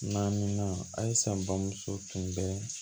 Naminan alisa bamuso tun bɛ